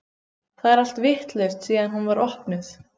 Það er allt vitlaust síðan hún var opnuð.